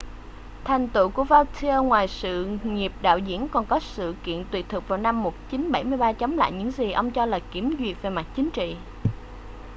thành tựu của vautier ngoài sự nghiệp đạo diễn còn có sự kiện tuyệt thực vào năm 1973 chống lại những gì ông cho là kiểm duyệt về mặt chính trị